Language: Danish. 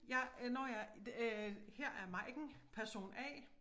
Jeg øh nåh ja det øh her er Maiken person A